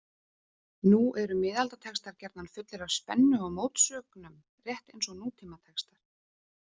Nú eru miðaldatextar gjarnan fullir af spennu og mótsögnum, rétt eins og nútímatextar.